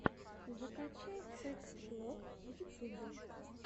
закачай фэкт блог в ютубе